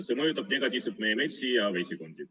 See mõjutab negatiivselt meie metsi ja vesikondi.